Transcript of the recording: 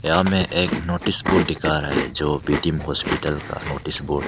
यहां में एक नोटिस बोर्ड दिखा रहा है जो बी टी म हॉस्पिटल का नोटिस बोर्ड --